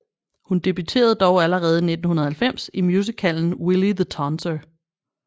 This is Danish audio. Hun debuterede dog allerede i 1990 i musicalen Willy The Tonser